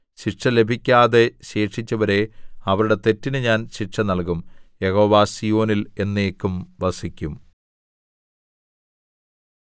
ശിക്ഷ ലഭിക്കാതെ ശേഷിച്ചവരെ അവരുടെ തെറ്റിന് ഞാന്‍ ശിക്ഷ നല്‍കും യഹോവ സീയോനിൽ എന്നേക്കും വസിക്കും